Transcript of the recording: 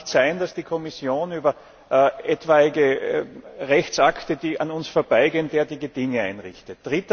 Es kann nicht sein, dass die Kommission über etwaige Rechtsakte, die an uns vorbeigehen, derartige Dinge einrichtet.